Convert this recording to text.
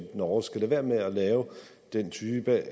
norge skal lade være med at lave den type